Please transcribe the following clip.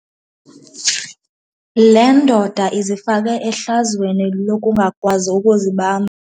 Le ndoda izifake ehlazweni lokungakwazi ukuzibamba.